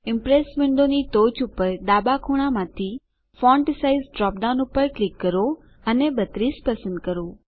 Impress વિન્ડોની ટોચ પર ડાબા ખૂણામાંથી ફોન્ટ સાઇઝ ડ્રોપ ડાઉન પર ક્લિક કરો અને 32 પસંદ કરો